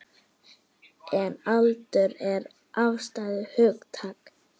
En aldur er afstætt hugtak.